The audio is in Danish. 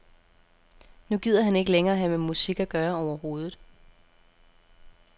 Nu gider han ikke længere have med musik at gøre overhovedet.